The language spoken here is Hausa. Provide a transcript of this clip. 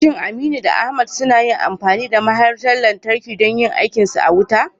Shin Aminu da Ahmad sunyi amfani da mahaɗar lantarkin don yin aikinsu na wuta?